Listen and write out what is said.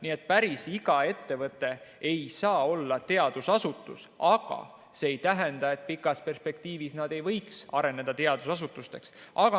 Nii et päris iga ettevõte ei saa olla teadusasutus, aga see ei tähenda, et pikas perspektiivis nad ei võiks areneda teadusasutusteks.